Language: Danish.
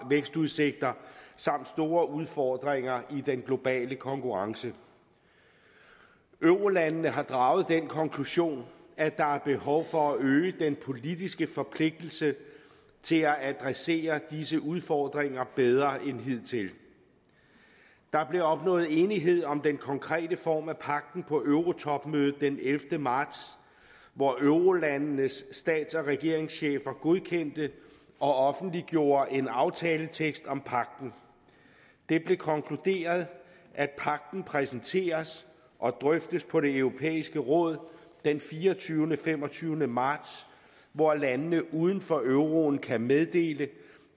vækstudsigter samt store udfordringer i den globale konkurrence eurolandene har draget den konklusion at der er behov for at øge den politiske forpligtelse til at adressere disse udfordringer bedre end hidtil der blev opnået enighed om den konkrete form af pagten på eurotopmødet den ellevte marts hvor eurolandenes stats og regeringschefer godkendte og offentliggjorde en aftaletekst om pagten det blev konkluderet at pagten præsenteres og drøftes på det europæiske råd den fireogtyvende fem og tyve marts hvor landene uden for euroen kan meddele